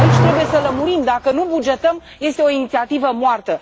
Aici trebuie să lămurim dacă nu bugetăm, este o inițiativă moartă.